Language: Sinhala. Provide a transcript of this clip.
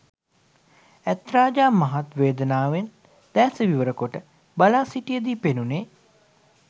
ඇත් රජා මහත් වේදනාවෙන් දෑස විවර කොට බලා සිිටිද්දී පෙනුණේ